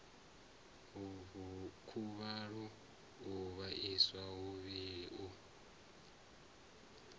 khuvhalo u vhaisa muvhili u